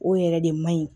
O yɛrɛ de man ɲi